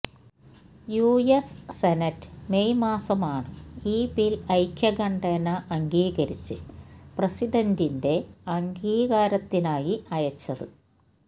US senate May മാസമാണ് ഈ bill ഐക്യകണ്ഠേന അംഗീകരിച്ച് പ്രസിഡന്റിന്റെ അംഗീകാരത്തിനായി അയച്ചത്